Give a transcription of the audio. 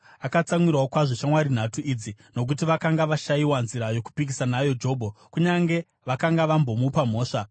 Akatsamwirawo kwazvo shamwari nhatu idzi, nokuti vakanga vashayiwa nzira yokupikisa nayo Jobho, kunyange vakanga vambomupa mhosva.